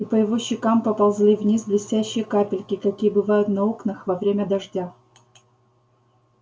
и по его щекам поползли вниз блестящие капельки какие бывают на окнах во время дождя